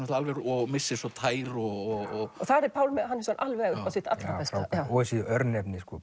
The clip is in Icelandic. og missir svo tær og þar er Pálmi Hannesson alveg upp á sitt allra besta og þessi örnefni sko